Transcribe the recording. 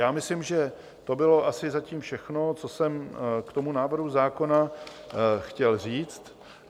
Já myslím, že to bylo asi zatím všechno, co jsem k tomu návrhu zákona chtěl říct.